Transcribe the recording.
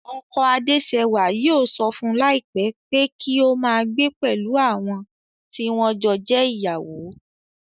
Ọkọ Adésẹwà yóò sọ fún láìpé pé kí o máa gbé pẹ̀lú àwọn tí wọ́n jọ jẹ́ ìyàwó